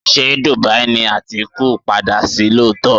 Ṣé Dubai ni Atiku á padà sí lóòótọ́?